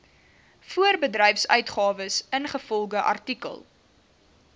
voorbedryfsuitgawes ingevolge artikel